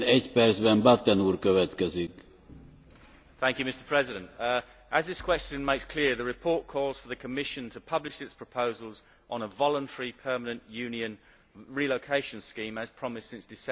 Mr President, as this question makes clear, the report calls for the Commission to publish its proposals on a voluntary permanent Union relocation scheme, as promised since December